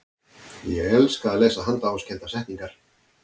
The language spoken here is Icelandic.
ég elska að lesa handahófskendar settningar